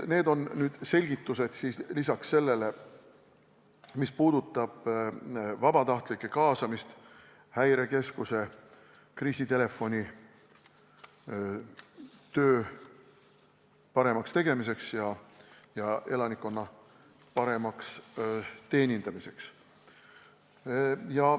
Need on selgitused lisaks sellele, mis puudutab vabatahtlike kaasamist Häirekeskuse kriisitelefoni töö paremaks tegemiseks ja elanikkonna paremaks teenindamiseks.